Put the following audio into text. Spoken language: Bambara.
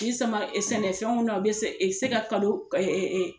K'i sama sɛnɛfɛnw na o bɛ se se ka kalo